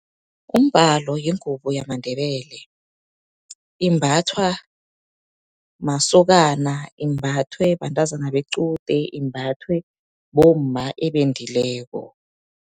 Umbhalo yingubo yamaNdebele, imbathwa masokana, imbathwe bantazana bequde, imbathwe bomma ebendileko.